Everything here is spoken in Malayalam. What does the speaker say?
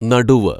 നടുവ്